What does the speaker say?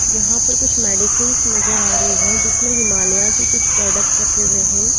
यहां पर कुछ मेडिसिंस नजर आ रही है जिसमें हिमालया की कुछ प्रॉडक्ट रखे हुए हैं।